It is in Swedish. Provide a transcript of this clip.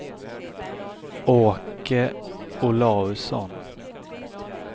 Åke Olausson